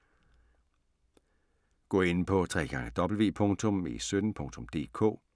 Gå ind på www.e17.dk